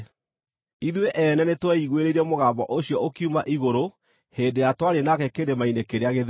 Ithuĩ ene nĩtweiguĩrĩire mũgambo ũcio ũkiuma igũrũ hĩndĩ ĩrĩa twarĩ nake kĩrĩma-inĩ kĩrĩa gĩtheru.